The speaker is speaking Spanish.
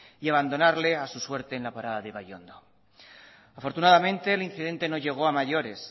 y abandonarle a su suerte en la parada de ibaiondo afortunadamente el incidente no llegó a mayores